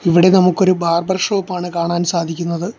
ഇവിടെ നമുക്കൊരു ബാർബർ ഷോപ്പാണ് കാണാൻ സാധിക്കുന്നത്.